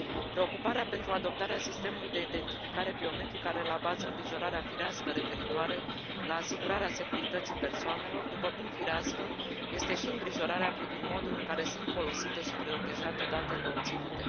Preocuparea pentru adoptarea sistemului de identificare biometrică are la bază îngrijorarea firească referitoare la asigurarea securității persoanelor, după cum firească este și îngrijorarea privind modul în care sunt folosite și protejate datele obținute.